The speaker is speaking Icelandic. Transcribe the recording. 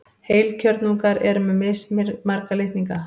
Heilkjörnungar eru með mismarga litninga.